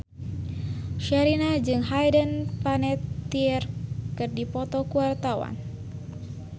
Sherina jeung Hayden Panettiere keur dipoto ku wartawan